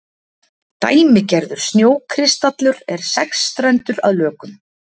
Dæmigerður snjókristallur er sexstrendur að lögun.